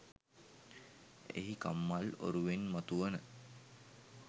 එහි කම්මල් ඔරුවෙන් මතුවන